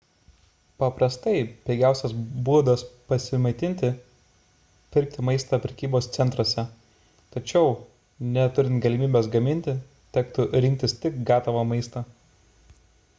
paprastai pigiausias būdas prasimaitinti – pirkti maistą prekybos centruose tačiau neturint galimybės gaminti tektų rinktis tik gatavą maistą